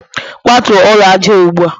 kwatuo ụlọ aja a ugbua!